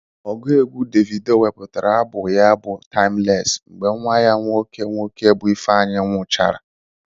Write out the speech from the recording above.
Ọgụ egwu Davido wepụtara abọm ya bụ taimles mgbe nwa ya nwoke nwoke bụ Ifeanyi nwụrụchara.